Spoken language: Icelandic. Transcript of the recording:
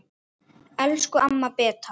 Elsku amma Beta.